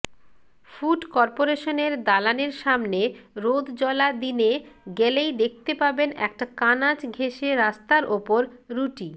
food কর্পোরেশনের দালানের সামনে রোদজ্বলা দিনে গেলেই দেখতে পাবেন একটা কানাচ ঘেঁষে রাস্তার ওপর রুটি